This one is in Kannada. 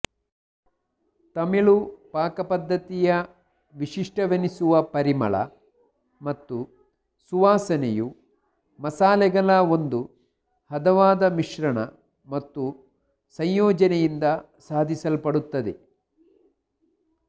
ತಮಿಳು ಪಾಕಪದ್ಧತಿಯ ವಿಶಿಷ್ಟವೆನಿಸುವ ಪರಿಮಳ ಮತ್ತು ಸುವಾಸನೆಯು ಮಸಾಲೆಗಳ ಒಂದು ಹದವಾದ ಮಿಶ್ರಣ ಮತ್ತು ಸಂಯೋಜನೆಯಿಂದ ಸಾಧಿಸಲ್ಪಡುತ್ತದೆ